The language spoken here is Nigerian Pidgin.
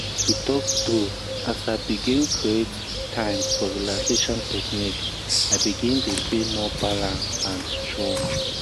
to talk true as l begin create um time for relaxation technique i begin dey feel more balance and um strong.